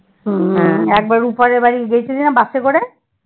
একবার রুপা দের বাড়িতে গেছিলি না বাসে করে?